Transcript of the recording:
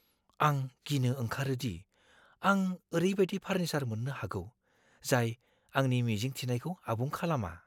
आं गिनो ओंखारो दि आं ओरैबादि फार्निचार मोननो हागौ, जाय आंनि मिजिं थिनायखौ आबुं खालामा।